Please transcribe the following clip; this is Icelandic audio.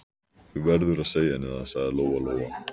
Þú verður að segja henni það, sagði Lóa-Lóa.